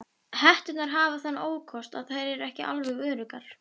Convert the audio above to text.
Hetturnar hafa þann ókost að þær eru ekki alveg öruggar.